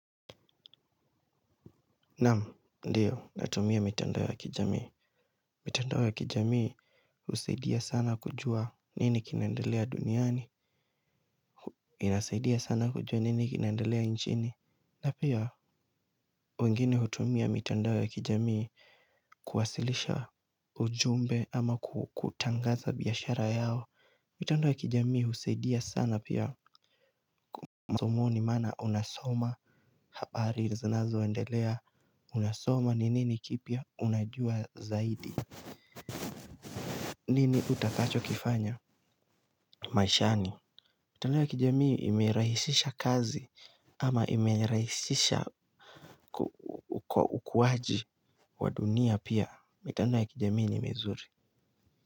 Naam, ndio natumia mitandao ya kijamii. Mitandao ya kijamii husaidia sana kujua nini kinaendelea duniani. Inasaidia sana kujua nini kinendelea nchini na pia wengine hutumia mitandao ya kijamii kuwasilisha ujumbe ama kutangaza biashara yao. Mitandao ya kijamii usaidia sana pia. Masomoni maana unasoma habari zinazo endelea, unasoma ni nini kipya unajua zaidi. Nini utakacho kifanya maishani, mitandao ya kijamii imerahisisha kazi ama imerahisisha kwa ukuwaji wa dunia pia. Mitandao ya kijamii ni mizuri.